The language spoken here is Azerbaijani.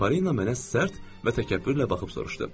Polina mənə sərt və təkəbbürlə baxıb soruşdu.